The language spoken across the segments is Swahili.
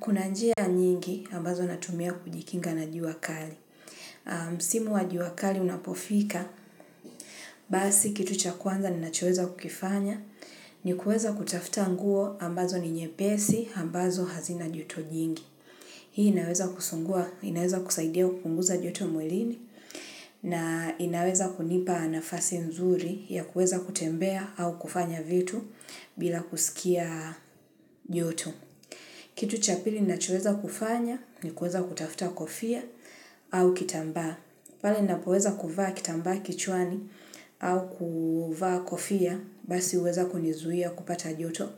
Kuna njia nyingi ambazo natumia kujikinga na jua kali. Msimu wa jua kali unapofika, basi kitu cha kwanza ninachoweza kukifanya, ni kuweza kutafuta nguo ambazo ni nyepesi, ambazo hazina joto jingi. Hii inaweza kusungua, inaweza kusaidia kupunguza joto mwilini, na inaweza kunipa nafasi nzuri ya kuweza kutembea au kufanya vitu bila kusikia joto. Kitu cha pili ninachoweza kufanya ni kuweza kutafuta kofia au kitambaa. Pale ninapoweza kuvaa kitambaa kichwani au kuvaa kofia basi huweza kunizuia kupata joto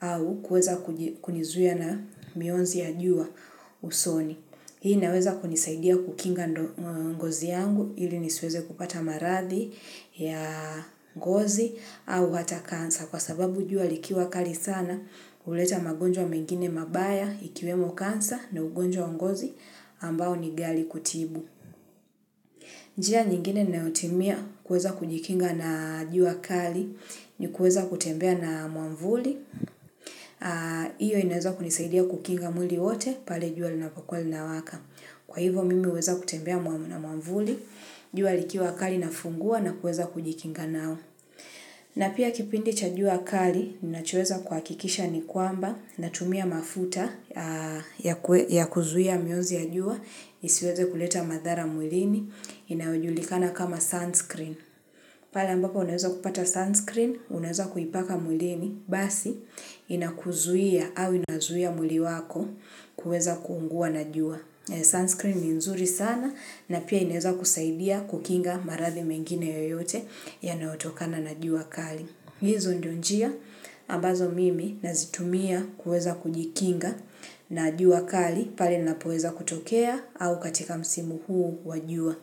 au kuweza kunizuia na mionzi ya jua usoni. Hii inaweza kunisaidia kukinga ngozi yangu ili nisiweze kupata maradhi ya ngozi au hata cancer. Kwa sababu jua likiwa kali sana huleta magonjwa mengine mabaya ikiwemo cancer na ugonjwa wa ngozi ambao ni ghali kutibu. Njia nyingine ninayotimia kuweza kujikinga na jua kali ni kuweza kutembea na mwavuli. Hiyo inaweza kunisaidia kukinga mwili wote pale jua linapokuwa linawaka. Kwa hivo mimi huweza kutembea na mwavuli, jua likiwa kali nafungua na kuweza kujikinga nao. Na pia kipindi cha jua kali, ninachoweza kuhakikisha ni kwamba, natumia mafuta ya kuzuia mionzi ya jua, isiweze kuleta madhara mwilini, inayojulikana kama sunscreen. Pale ambapo unaweza kupata sunscreen, unaweza kuipaka mwilini, basi, inakuzuia au inazuia mwili wako, kuweza kuungua na jua. Sunscreen ni nzuri sana na pia inaweza kusaidia kukinga maradhi mengine yoyote yanayotokana na jua kali. Hizo ndio njia ambazo mimi nazitumia kuweza kujikinga na jua kali pale ninapoweza kutokea au katika msimu huu wa jua.